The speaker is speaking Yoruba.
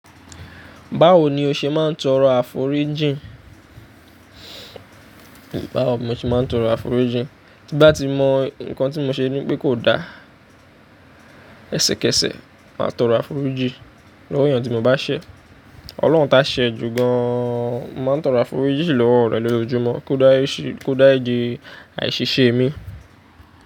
Báwo ni o ṣe máa ń tọrọ àforíjìn? Báwo mo ṣe máa ń tọrọ àforíjìn? Tí bá ti mọ nǹkan tí mo ṣe ní pé kò da, ẹsẹ̀kẹsẹ̀ máa tọrọ àforíjìn lọ́wọ́ èèyàn tí mo bá ṣẹ̀. Ọlọ́run tá ṣẹ̀ jù gan an, mọ máa ń tọrọ àforíjìn lọ́wọ́ rẹ̀ lójoojúmọ́ kó dárijin, kó dárijin àṣiṣe mi.